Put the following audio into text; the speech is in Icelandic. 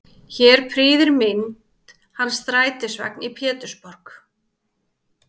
Hér prýðir mynd hans strætisvagn í Pétursborg.